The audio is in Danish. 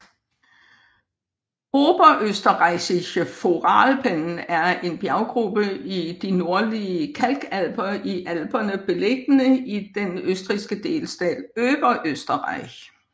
Oberösterreichische Voralpen er en bjerggruppe i de Nordlige kalkalper i Alperne beliggende i den østrigske delstat Oberösterreich